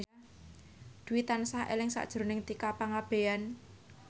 Dwi tansah eling sakjroning Tika Pangabean